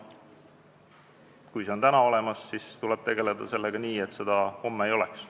Kui see on täna olemas, siis tuleb sellega tegelda, et seda homme ei oleks.